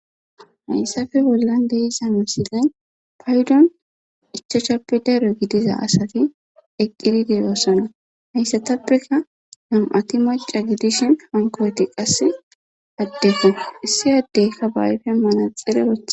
hayssafe bollan deizane miselenni paydon ichachappe daro gidiza asati eqqidi deyoossana hayssatappeka nam7ati maca gidishin hankoweti qasse addeko issi addeykka ba ayfe manaxere rothe